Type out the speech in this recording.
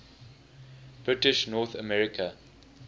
british north america